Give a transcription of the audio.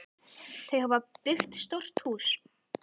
Þau hafa byggt stórt hús.